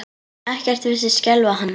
Ekkert virtist skelfa hann.